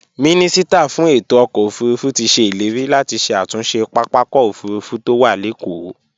Mínísítà fún ètò ọkọ̀ òfurufú ti se ileri láti ṣe àtúnṣe pápákọ̀ òfurufú tó wà lékòó